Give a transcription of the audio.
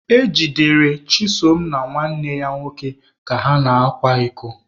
E jidere Chisom na nwanne ya nwoke ka ha na-akwa iko